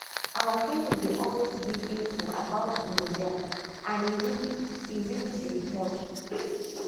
our clinic dey always give info about gonorrhea and e really e really dey help